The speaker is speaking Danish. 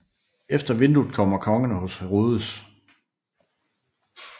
Efter vinduet kommer Kongerne hos Herodes